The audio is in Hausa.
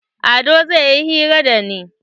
Ado zai yi hira da ni.